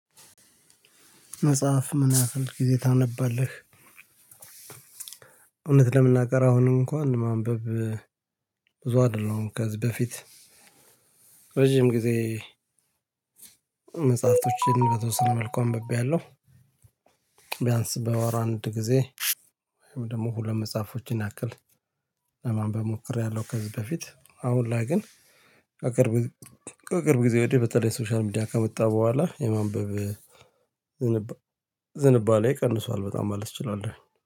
መጽሐፍ ምን ያህል ጊዜ ታነባለህ? እውነት ለመናገር አሁን እንኳን ማንበብ ብዙ አይደለሁም ከዚህ በፊት ረጅም ጊዜ መጽሐፍቶችን በተወሰነ መልኩ አንብቤያለሁ። ቢያንስ በወር አንድ ጊዜ ወይም ደግሞ ሁለት መጽሐፎችን ያክል ለማን ሞክሬያለሁ። ከዚህ በፊት አሁን ላይ ግን አቅርብ ከቅርብ ጊዜ ወዲህ በተለይ ሶሻል ሚዲያ ከመጣ በኋላ የማንበብ ዝንባሌ ቀንሷል። በጣም ማለት ትችላለህ